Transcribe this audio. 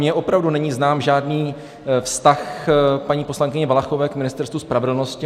Mně opravdu není znám žádný vztah paní poslankyně Valachové k Ministerstvu spravedlnosti.